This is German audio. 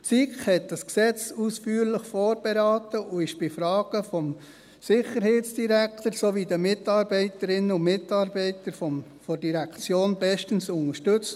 Die SiK hat dieses Gesetz ausführlich vorberaten und wurde bei Fragen vom Sicherheitsdirektor sowie von den Mitarbeiterinnen und Mitarbeitern der Direktion bestens unterstützt.